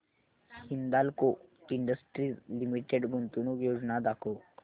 Hindalco industries limited गुंतवणूक योजना दाखव